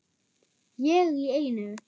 Ég í einu.